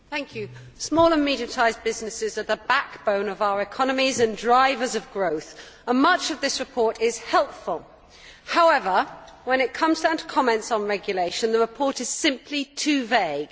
Madam President, small and medium sized businesses are the backbone of our economies and drivers of growth, and much of this report is helpful. However, when it comes down to comments on regulation, the report is simply too vague.